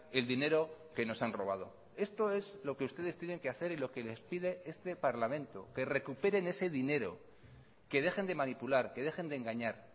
el dinero que nos han robado esto es lo que ustedes tienen que hacer y lo que les pide este parlamento que recuperen ese dinero que dejen de manipular que dejen de engañar